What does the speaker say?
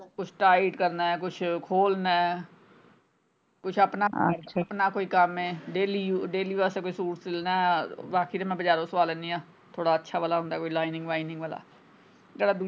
Tight ਕਰਨਾ ਹੈ ਕੁਛ ਖੋਲ੍ਹਣਾ ਹੈ ਕੁਛ ਆਪਣਾ ਅੱਛਾ ਕੁਛ ਆਪਣਾ ਕੋਈ ਕੰਮ ਹੈ daily use daily ਵਾਸਤੇ ਕੋਈ ਸੂਟ ਸਿਲਣਾ ਬਾਕੀ ਤੇ ਮੈਂ ਬਜਾਰੋਂ ਸਵਾ ਲੈਣੀ ਆਂ ਥੋੜਾ ਅੱਛਾ ਵਾਲਾ ਹੁੰਦਾ ਕੋਈ lining ਵਾਲਾ ਜਿਹੜਾ।